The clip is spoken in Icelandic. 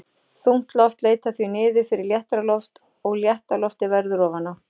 Þungt loft leitar því niður fyrir léttara loft og létta loftið verður ofan á.